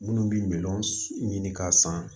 Minnu bɛ miliyɔn ɲini k'a san